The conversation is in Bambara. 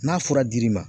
N'a fura dir'i ma